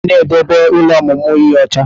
A gwara gị ka ị na-edebe ụlọ ọmụmụ ihe ọcha!